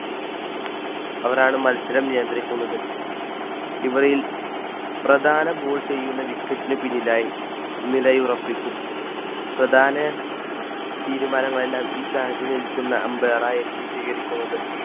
അവരാണ് മത്സരം നിയന്ത്രിക്കുന്നത്. ഇവരിൽ പ്രധാന Bowl ചെയ്യുന്ന wicket ന് പിന്നിലായിനിലയുറപ്പിക്കും പ്രധാന തീരുമാനങ്ങൾ എല്ലാം ഈ സ്ഥാനത്ത് നിൽക്കുന്ന Ambire മാരായിരിക്കും സ്വീകരിക്കുന്നത്.